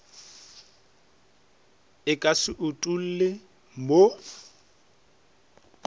e ka se utolle mo